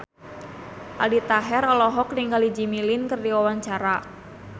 Aldi Taher olohok ningali Jimmy Lin keur diwawancara